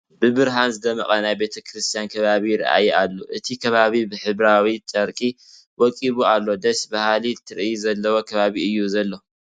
ብብርሃን ዝደመቐ ናይ ቤተ ክርስቲያን ከባቢ ይርአ ኣሎ፡፡ እቲ ከባቢ ብሕብራዊ ጨርቂ ወቂቡ ኣሎ፡፡ ደስ በሃሊ ትርኢት ዘለዎ ከባቢ እዩ ዝኒሀ፡፡